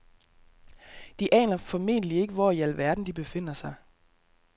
De aner formentlig ikke, hvor i al verden de befinder sig.